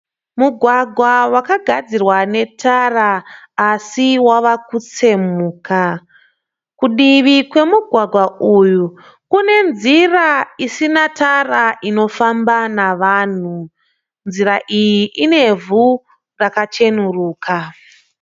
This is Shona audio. Mugwagwa wakagadzirwa netara asi wavakutsemuka. Kudivi kwemugwagwa uyu kune nzira isina tara inofamba nevanhu. Nzira iyi ine ivhu rakacheneruka.